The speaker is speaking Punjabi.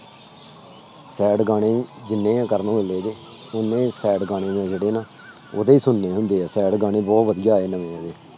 Sad ਗਾਣੇ ਜਿੰਨੇ ਕਰਨ ਔਜਲੇ ਦੇ ਜਿੰਨੇ sad ਗਾਣੇ ਆ ਜਿਹੜੇ ਨਾ ਉਹਦੇ ਹੀ ਸੁਣਨੇ ਹੁੰਦੇ ਆ sad ਗਾਣੇ ਬਹੁਤ ਵਧੀਆ ਆਏ ਨਵੇਂ ਨਵੇਂ।